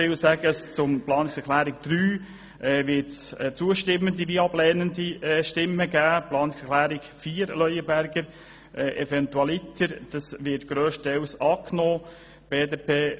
Bei der Planungserklärung 3 gibt es sowohl zustimmende wie auch ablehnende Stimmen, Planungserklärung 4 wird grösstenteils angenommen.